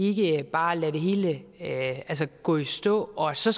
ikke bare lader det hele gå i stå og så